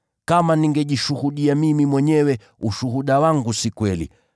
“Kama ningejishuhudia mimi mwenyewe, ushuhuda wangu si kweli.